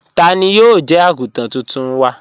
Tani yóò jẹ́ àgùntàn tóntún wa?